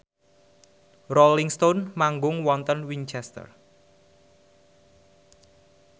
Rolling Stone manggung wonten Winchester